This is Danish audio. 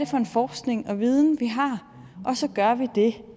for en forskning og viden vi har og så gør vi det